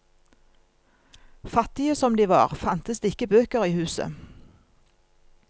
Fattige som de var, fantes det ikke bøker i huset.